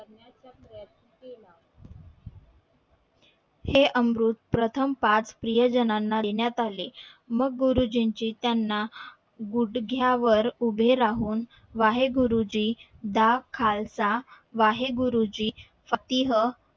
हे अमृत प्रथम पाच प्रिय जणांना देण्यात आले मग गुरुजींची त्याना गुडघ्या वर उभे राहून वाहे गुरुजी दा खालसा वाहे गुरुजी फतिह